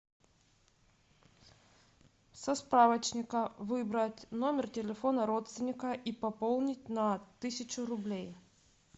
со справочника выбрать номер телефона родственника и пополнить на тысячу рублей